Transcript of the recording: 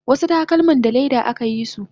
wasu takalman sa leda akayisu